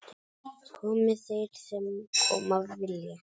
Komi þeir sem koma vilja